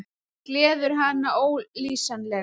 Það gleður hann ólýsanlega.